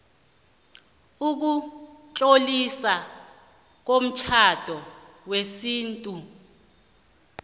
ukutloliswa komtjhado wesintu